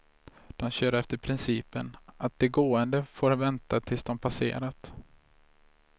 De kör efter principen att de gående får vänta tills de passerat.